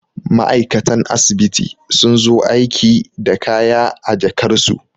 ma'aikatan asibiti sun zo aiki da kaya a jakarsu